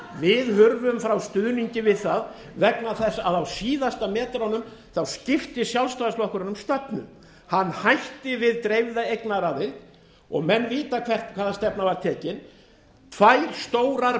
við hurfum frá stuðningi við það vegna þess að á síðustu metrunum skipti sjálfstæðisflokkurinn um stefnu hann hætti við dreifða eignaraðild og menn vita hvaða stefna var tekin tvær stórar